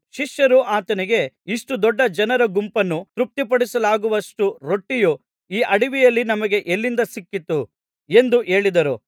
ಶಿಷ್ಯರು ಆತನಿಗೆ ಇಷ್ಟು ದೊಡ್ಡ ಜನರ ಗುಂಪನ್ನು ತೃಪ್ತಿಪಡಿಸಲಾಗುವಷ್ಟು ರೊಟ್ಟಿಯು ಈ ಅಡವಿಯಲ್ಲಿ ನಮಗೆ ಎಲ್ಲಿಂದ ಸಿಕ್ಕೀತು ಎಂದು ಹೇಳಿದರು